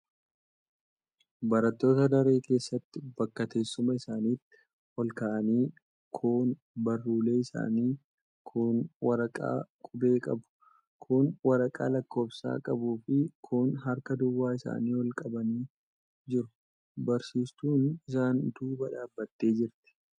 Barattoota daree keessatti bakka teessuma isaaniitii ol ka'anii kuun baruullee isaanii, kuun waraqaa qubee qabu, kuun waraqaa lakkoofsa qabufi kuun harka duwwaa isaanii ol qabanii jiru. Barsiistuunis isaan duuba dhaabattee jirti.